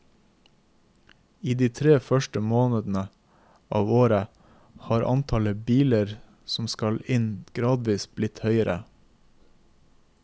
I de tre første månedene av året har antallet biler som skal inn gradvis blitt høyere.